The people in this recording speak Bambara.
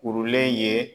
Kurulen ye